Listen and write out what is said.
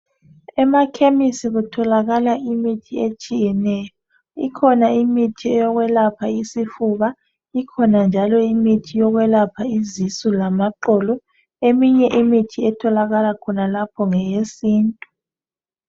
Emakhemisi kutholakala imithi etshiyeneyo khona imithi eyokwelapha isifuba ikhona njalo imithi yokwelapha izisu lamaqolo eminye imithi etholakala khonalapho ngeye sintu.